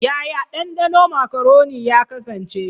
Yaya dandano makaroni ya kasance?